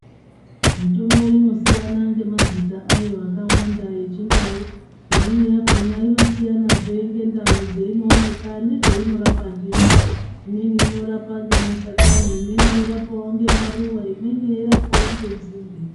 Mitombo inosiyana ngemazita ayo akawanda echindau. Imweni yakona inosiyanazve ngendau dzeinoonekwa nezveinorapa ndizvo. Imweni inorapa ngemashakani , imweni inorapawo ngemaruwa, imweni yeirapawo ngenzinde.